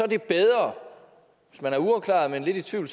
er bedre hvis man er uafklaret og lidt i tvivl